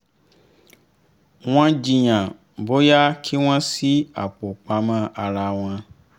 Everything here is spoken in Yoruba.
wọ́n jiyàn bóyá kí wọ́n ṣí apò pamọ́ ara wọn